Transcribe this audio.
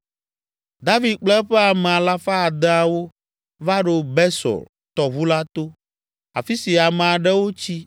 David kple eƒe ame alafa adeawo (600) va ɖo Besor tɔʋu la to, afi si ame aɖewo tsi